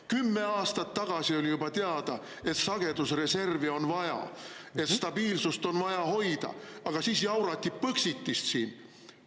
Kümme aastat tagasi oli juba teada, et sagedusreservi on vaja ja stabiilsust on vaja hoida, aga siis jaurati põxitist siin.